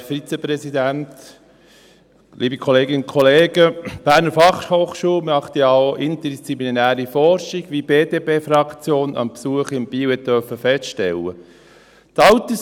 Die BFH macht ja auch interdisziplinäre Forschung, wie die BDPFraktion bei ihrem Besuch in Biel feststellen durfte.